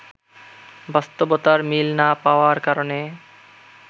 বাস্তবতার মিল না পাওয়ার কারণে